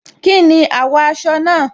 Kínni àwò aso náà?